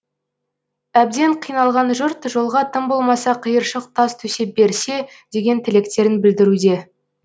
әбден қиналған жұрт жолға тым болмаса қиыршық тас төсеп берсе деген тілектерін білдіруде